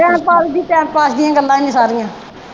Time pass ਜੀ time pass ਦੀਆ ਗੱਲਾਂ ਨੇ ਸਾਰੀਆਂ।